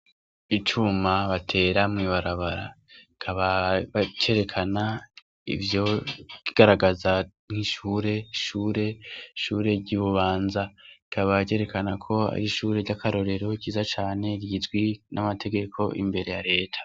Icuma batera mw’ibarabara, kikaba cerekana ivyo garagaza nk'ishure shure shure ry ‘iBubanza rikaba ryerekana ko ari ishure ry'akarorero ryiza cane rizwi n'amategeko imbere ya Leta.